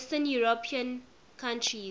western european countries